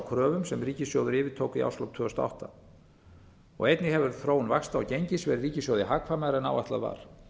kröfum sem ríkissjóður yfirtók í árslok tvö þúsund og átta einnig hefur þróun vaxta og gengis verið ríkissjóði hagkvæmari en áætlað var